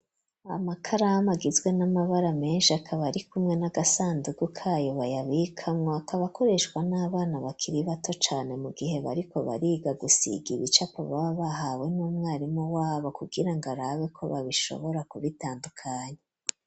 Amakaramu agizwe n'amabara menshi akaba ari kumwe n'agasandugu kayo bayabikamwo akaba akoreshwa n'abana bakiri bato cane mu gihe bariko bariga gusiga ibicapo baba bahawe n'umwarimu wabo kugira ngo arabe ko babishobora kubitandukanya.